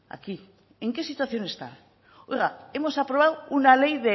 aquí en qué situación está oiga hemos aprobado una ley